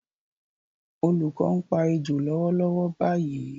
Olùkọ́ ń pa ejò lọ́wọ́lọ́wọ́ báyìí